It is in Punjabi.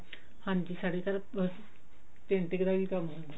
ਹਾਂਜੀ ਸਾਡੀ ਤਰਫ਼ painting ਦਾ ਕੰਮ ਹੁੰਦਾ